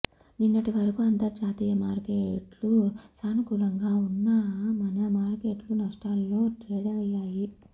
నిన్నటి వరకు అంతర్జాతీయ మార్కెట్లు సానుకూలంగా ఉన్నా మన మార్కెట్లు నష్టాల్లో ట్రేడయ్యాయి